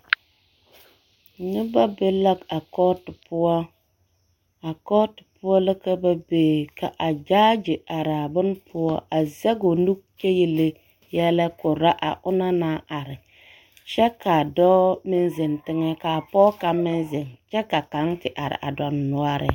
Noba be la a kɔɔto poɔ a kɔɔto poɔ la ka ba be a gyaagye araa bone poɔ a zɛge o nu kyɛ yele yɛlɛ korɔ a onaŋ naŋ are kyɛ k'a dɔɔ meŋ zeŋ teŋɛ k'a pɔge kaŋ meŋ zeŋ kyɛ k'a kaŋ te are a dondɔnoɔreŋ.